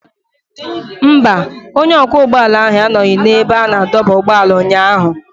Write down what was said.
Mba, onye ọkwọ ụgbọala ahụ anọghị n'ebe a na-adọba ụgbọala ụnyaahụ.